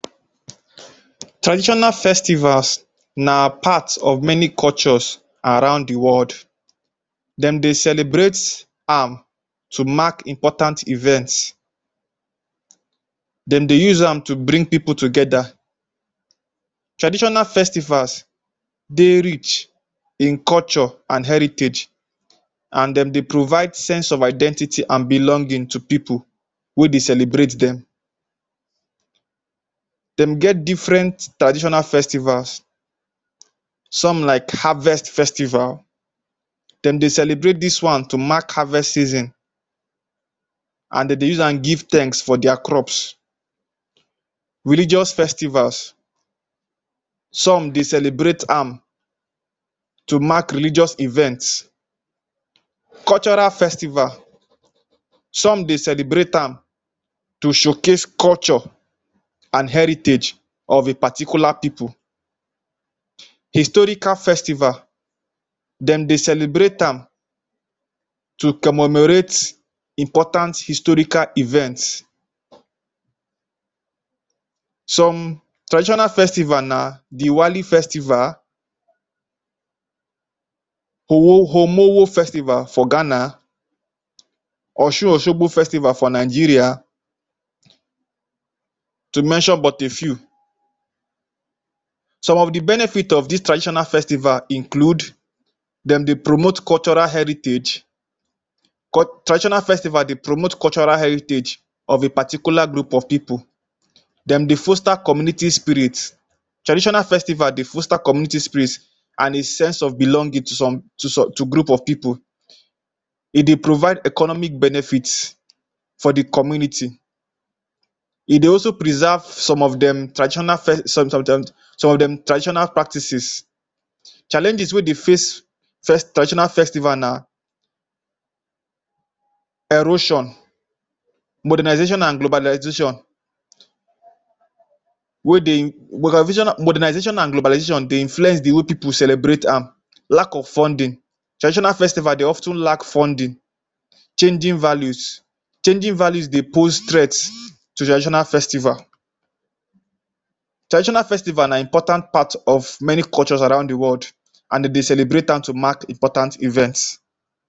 Traditional festivals na part of many cultures around the world. Dem dey celebrate am to mark important events. Dem dey use am to bring pipu together. Traditional festivals dey rich in culture an heritage an dem dey provide sense of identity an belonging to pipu wey dey celebrate dem. Dem get different traditional festivals. Some like harvest festival. Dem dey celebrate dis one to mark harvest season an de dey use am give thanks for dia crops. Religious festivals. Some dey celebrate am to mark religious events. Cultural festival. Some dey celebrate am to showcase culture, an heritage of a particular pipu. Historical festival. Dem dey celebrate am to commemorate important historical events. Some traditional festival na Diwali festival Omowo festival for Ghana, Osun-Osogbo festival for Nigeria to mention but a few. Some of the benefit of dis traditional festival include: dem dey promote cultural heritage. Traditional festival dey promote cultural heritage of a particular group of pipu. Dem dey foster community spirit. Traditional festival dey foster community spirit an a sense of belonging to some to to group of pipu. E dey provide economic benefits for the community. E dey also preserve some of dem traditional some of dem traditional practices. Challenges wey dey face traditional festival na erosion Modernization an globalization, wey dey modernization an globalization dey influence the way pipu celebrate am. Lack of funding. Traditional festival dey of ten lack funding Changing values. Changing values dey pose threat to traditional festival. Traditional festival na important part of many cultures around the world an de dey celebrate am to mark important events.